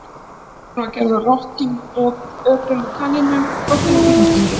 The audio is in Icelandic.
Tilraun var gerð á rottum, öpum og kanínum og gott ef ekki hundum líka.